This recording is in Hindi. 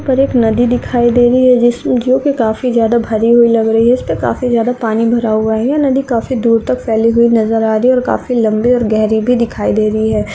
पर एक नदी दिखाई दे रही है जिसमें जो कि काफी भरी हुई लग रही है इसमें काफी पानी भरा हुआ है यह नदी काफी दूर तक फैली हुई नज़र आ रही है और काफी लंबी और गहरी दिखाई दे रही है।